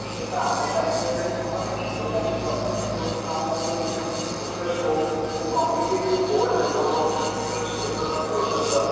ସେଟ ଆମେ ଚାହିଁଲେ ଖାଲି ହବ ନାହିଁ ଯୋଉଟା କି ପ୍ରଥମେ ଯୋଉଠି ଆମର ଯୋଉ recruitment process ହଉ ଯୋଉ committee board member ରହୁ ଛନ୍ତି ଯୋଉସବୁ recruitment process ର